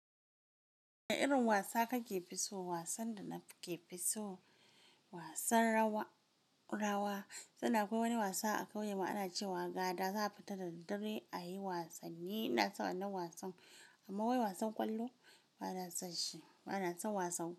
Wane irin wasa kake fi so? Wasan da nake fi so wasan rawa, rawa sannan akwai wani wasa a kauyemu ana ce wa gada za a fita da daddare a yi wasanni. Ina son wannan wasan amma wai wasan ƙwallo ba na son shi. Ba na son wasan ƙwallo.